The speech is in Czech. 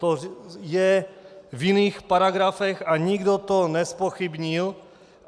To je v jiných paragrafech a nikdo to nezpochybnil.